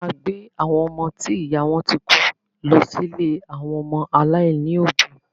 A máa gbé àwọn ọmọ ti ìyá wọn ti kú lọ sí ilé àwọn ọmọ aláìní òbí